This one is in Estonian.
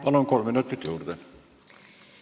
Palun, kolm minutit juurde!